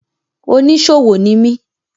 Oníṣòwò ni mi.